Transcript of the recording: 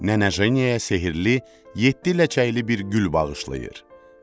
Nənə Jeniyaya sehirli, yeddi ləçəkli bir gül bağışlayır.